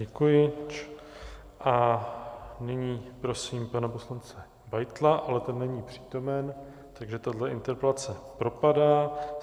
Děkuji a nyní prosím pana poslance Beitla, ale ten není přítomen, takže tahle interpelace propadá.